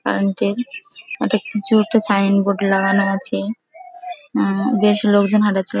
Current এর একটা কিছু একটা সাইন বোর্ড লাগানো আছে। উমম বেশ লোকজন হাঁটাচলা --